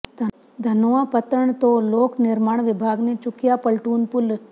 ਧਨੋਆ ਪੱਤਣ ਤੋਂ ਲੋਕ ਨਿਰਮਾਣ ਵਿਭਾਗ ਨੇ ਚੁੱਕਿਆ ਪਲਟੂਨ ਪੁਲ